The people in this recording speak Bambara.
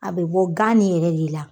A be bɔ gan ni yɛrɛ de la.